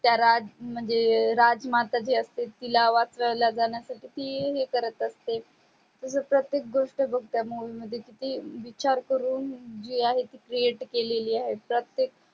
त्या राज म्हणजे राजमाता जी असते तिला वाचवल्या जाण्या साठी ती हे करत असते मी तर प्रेतक गोष्ट बगते movie मध्ये किती विचार करून जी आहे ती create केलेली आहे प्रतेक